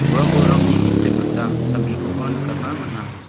ua bolrangni gisep gita salgikoba nikatna man·a.